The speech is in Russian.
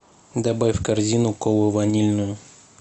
добавь в корзину колу ванильную